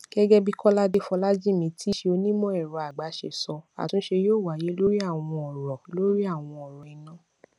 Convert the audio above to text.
gégé bí kolade folajimi tíí ṣe onímò èrọ àgbà ṣe sọ àtúnṣe yóò wáyé lórí àwọn òrò lórí àwọn òrò iná